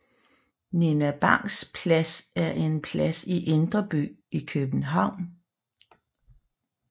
Nina Bangs Plads er en plads i Indre By i København